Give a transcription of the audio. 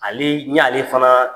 Ale, ɲ'ale fanaa